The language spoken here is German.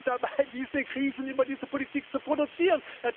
Ja, wir sind dabei, diese Krisen über diese Politik zu produzieren.